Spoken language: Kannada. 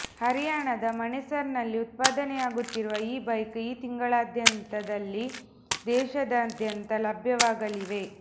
ಹರ್ಯಾಣದ ಮಣೇಸರ್ನಲ್ಲಿ ಉತ್ಪಾದನೆಯಾಗುತ್ತಿರುವ ಈ ಬೈಕ್ ಈ ತಿಂಗಳಾಂತ್ಯದಲ್ಲಿ ದೇಶದಾದ್ಯಂತ ಲಭ್ಯವಾಗಲಿವೆ